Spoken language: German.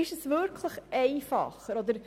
Wäre es wirklich einfacher?